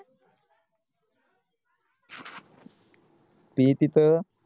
P तिथं